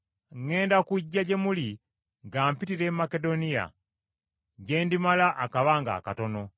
Ŋŋenda kujja gye muli nga mpitira e Makedoniya, gye ndimala akabanga akatono.